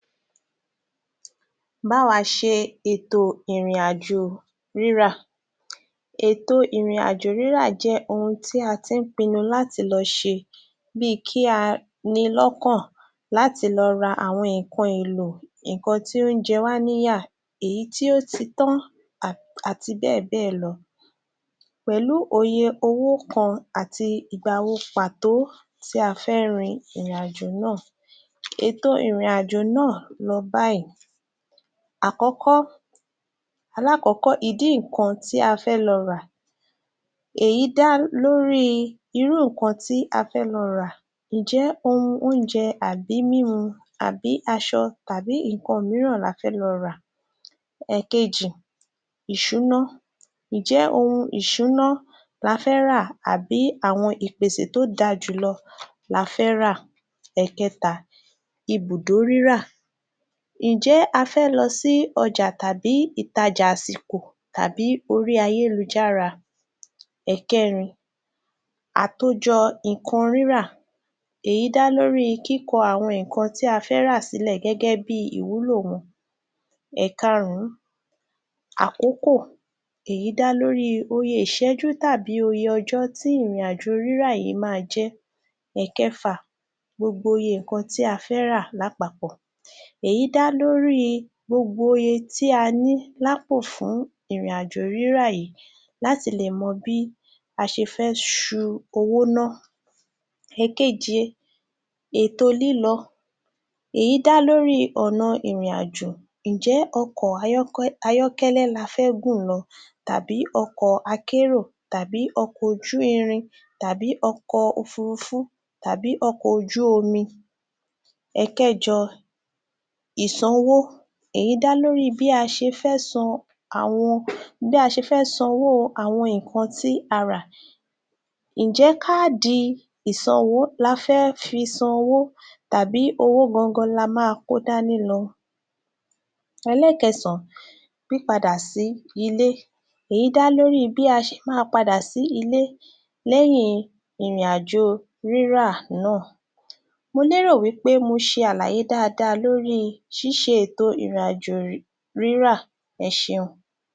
Bá wa ṣe ètò ìrìnàjò rírà Ètò ìrìnàjò rírà jẹ́ ohun tí a ti ń pinnu láti lọ ṣe bí i kí a ní i lọ́kàn láti lọ ra àwọn nǹkan èlò, ǹkan tí ó ń jẹ wá níyà, èyi tí ó ti tán àti bẹ́ẹ̀ bẹ́ẹ̀ lọ. Pẹ̀lú òye owó kan àti ìgbà wo pàtó tí a fẹ́ rin ìrìnàjò náà. Ètò ìrìnàjò náà lọ báyìí: Akọ́kọ́..alákọ̀ọ́kọ́: Idí ǹkan tí a fẹ́ lọ rà. Èyí dá lórí i irú ǹkan tí a fẹ́ lọ rà. Ǹjẹ́ ohun oúnjẹ àbí mímu àbí aṣọ tàbí ǹkan mìíràn lo fẹ́ lọ rà. Ẹ̀ẹ̀kejì- Iṣúná: Ǹjẹ ohun ìṣúná la fẹ́ rà àbí àwọn ìpèsè tó da jù lọ la fẹ́ rà? Ẹ̀ẹ̀kẹta- Ibùdó rírà. Ǹjẹ́ a fẹ́ lọ sí ọjà tàbí ìtajà àsìkò tàbí orí ayélujára? Ẹ̀ẹ̀kẹrin: Atòjọ ǹkan rírà- Èyí dá lórí kíkọ àwọn ǹkan tí a fẹ́ rà sílẹ̀ gẹ́gẹ́ bí ìwúlò wọn. Ẹ̀karùn-ún- Èyí dá lórí oye ìṣẹ́jú tàbí oye ọjọ tí ìrìnàjò rírà yìí máa jẹ́. Ẹ̀ẹ̀kẹfà- Gbogbo iye ǹkan tí a fẹ́ rà lápapọ̀. Èyí dá lórí gbogbo iye tí a ní lápò fún ìrìnàjò rírà yìí láti lè mọ bí a ṣe fẹ́ ṣú owó ná. Ẹ̀ẹ̀keje- Èto lílò: Èyí dá lórí ọ̀nà ìrìnàjò. Ǹjẹ́ ọkọ ayọ́kọ..ayọ́kẹ́lẹ́ la fẹ́ gùn lọ tàbí ọkọ akérò tàbí ọkọ ojú-irin tàbí ọkọ òfurufú tàbí ọkọ ojú-omi? Ẹ̀ẹ̀kẹjọ-Ìsanwó: Èyí dá lórí bí a ṣe fẹ́ san owó àwọn ǹkan tí a rà. Ǹjẹ́ káàdì ìṣanwó la fé fi san owó tàbí owó gan gan la ma kó dání lọ? Ẹlẹ́kẹsàn-án-Pípadà sí ilé, èyí dá lórí i bí a ṣe máa padà sí ilé lẹ́yìn ìrìn àjò rírà náà. Mo lérò pé mo ṣe àlàyé dáadáa lórí i ṣíṣe ètò ìrìnàjò rírà. Ẹ ṣeun.